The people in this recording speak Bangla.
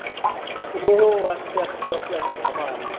ও আচ্ছা আচ্ছা আচ্ছা আচ্ছা ধামাল